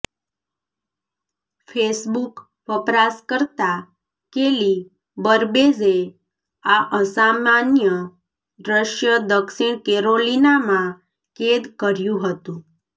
Facebook વપરાશકર્તા Kelly બર્બેજે આ અસામાન્ય દ્રશ્ય દક્ષિણ કેરોલિનામાં કેદ કર્યું હતું